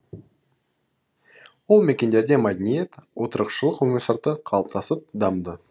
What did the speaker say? ол мекендерде мәдениет отырықшылық өмір салты қалыптасып дамыды